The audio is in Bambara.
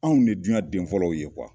Anw ne duɲan den fɔlɔw ye